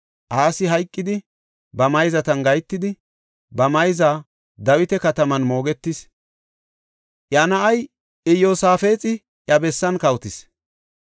Asi hayqidi, ba mayzatan gahetidi ba mayza Dawita Kataman moogetis. Iya na7ay Iyosaafexi iya bessan kawotis.